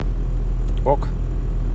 ок